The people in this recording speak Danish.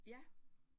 Ja